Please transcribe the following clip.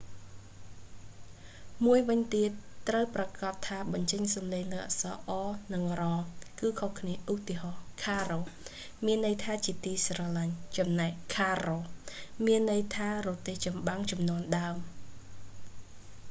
មួយវិញទៀត ត្រូវប្រាកដថាបញ្ចេញសំលេងលើអក្សរ r និង rr គឺខុសគ្នា ឧទាហរណ៍ caro មានន័យថាជាទីស្រឡាញ់ ចំណែក carro មានន័យថារទេះចម្បាំងជំនាន់ដើម